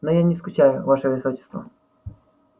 но я не скучаю ваше высочество